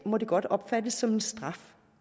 må det godt opfattes som en straf